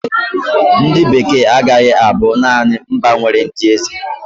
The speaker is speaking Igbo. Ndị Bekee agaghị abụ naanị mba nwere ndị eze.